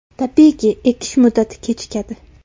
Tabiiyki, ekish muddati kechikadi.